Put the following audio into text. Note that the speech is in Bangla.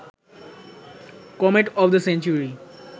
comet of the century